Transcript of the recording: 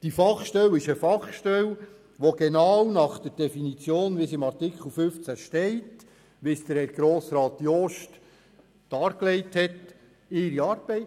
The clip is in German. Diese Fachstelle macht genau nach der Definition in Artikel 15 und so, wie es Grossrat Jost dargelegt hat, ihre Arbeit.